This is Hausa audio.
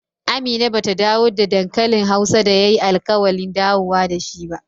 Amina ba ta dawo da dankalin hausa da ya yi alkawali dawowa da shi ba